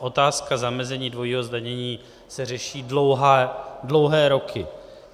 Otázka zamezení dvojího zdanění se řeší dlouhé roky.